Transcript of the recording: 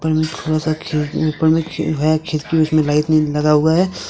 थोड़ा सा खेब ऊपर खेब है खिड़की उड़कि मे लाइट नही लगा हुआ है।